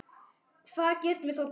Hvað getum við þá gert?